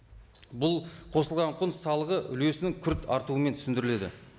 бұл қосылған құн салығы үлесінің күрт артуымен түсіндіріледі